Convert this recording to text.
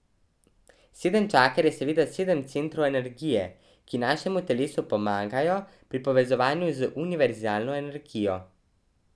Sedem čaker je seveda sedem centrov energije, ki našemu telesu pomagajo pri povezovanju z univerzalno energijo.